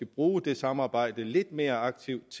bruge det samarbejde lidt mere aktivt